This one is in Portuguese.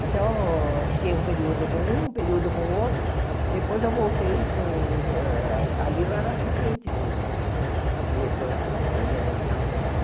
Então, eu fiquei um período com um, um período com o outro, depois eu voltei para os ah... ali eu era assistente do diretor, da eh venda de Carros usados.